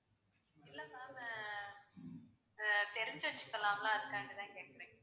இல்ல ma'am ஆஹ் ஆஹ் தெரிஞ்சு வச்சுக்கலாம்ல அதனால தான் கேக்குறேன்.